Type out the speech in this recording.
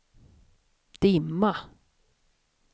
dimma